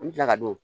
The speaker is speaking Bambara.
An bɛ tila ka don